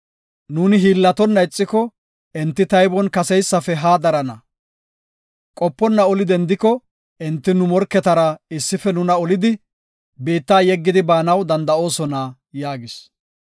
Nuuni hiillatonna ixiko enti taybon kaseysafe haa darana. Qoponna oli dendiko enti nu morketara issifidi nuna olidi, biitta yeggidi baanaw danda7oosona” yaagis.